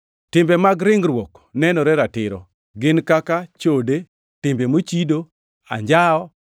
Timbe mag ringruok nenore ratiro, gin kaka: chode, timbe mochido, anjawo,